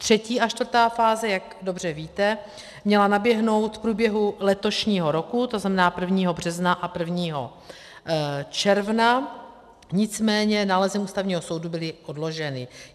Třetí a čtvrtá fáze, jak dobře víte, měla naběhnout v průběhu letošního roku, to znamená 1. března a 1. června, nicméně nálezem Ústavního soudu byly odloženy.